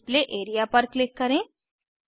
display area पर click करें